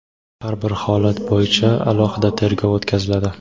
har bir holat bo‘yicha "alohida tergov o‘tkaziladi".